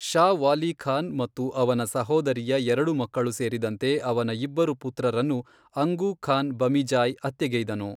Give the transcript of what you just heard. ಷಾ ವಾಲಿ ಖಾನ್ ಮತ್ತು ಅವನ ಸಹೋದರಿಯ ಎರಡು ಮಕ್ಕಳು ಸೇರಿದಂತೆ ಅವನ ಇಬ್ಬರು ಪುತ್ರರನ್ನು ಅಂಗು ಖಾನ್ ಬಮಿಜಾ಼ಯ್ ಹತ್ಯೆಗೈದನು.